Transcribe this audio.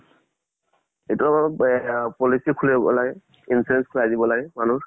এইটো বেৱা policy খুলিব লাগে, insurance খোলাই দিব লাগে মানুহৰ।